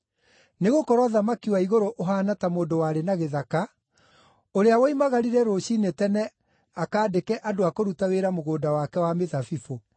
“Nĩgũkorwo ũthamaki wa igũrũ ũhaana ta mũndũ warĩ na gĩthaka, ũrĩa woimagarire rũciinĩ tene akaandĩke andũ a kũruta wĩra mũgũnda wake wa mĩthabibũ.